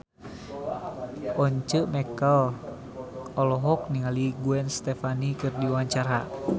Once Mekel olohok ningali Gwen Stefani keur diwawancara